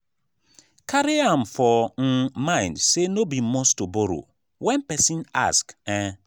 carry am for um mind sey no be must to borrow when person ask um